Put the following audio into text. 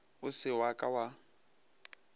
o se wa ka wa